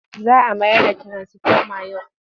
Za a mayar da tirasifomat yau.